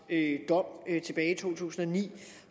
dom tilbage i to tusind og ni